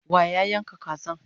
wa ya Yanka Kazan?